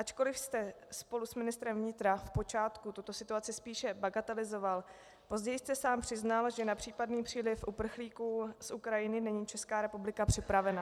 Ačkoliv jste spolu s ministrem vnitra v počátku tuto situaci spíše bagatelizoval, později jste sám přiznal, že na případný příliv uprchlíků z Ukrajiny není Česká republika připravena.